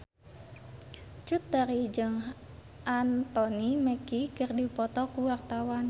Cut Tari jeung Anthony Mackie keur dipoto ku wartawan